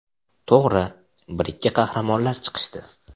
To‘g‘ri, bir-ikki qahramonlar chiqishdi.